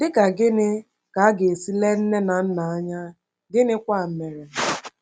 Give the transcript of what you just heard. Dị ka gịnị ka a ga-esi le nne na nna anya, gịnịkwa mere?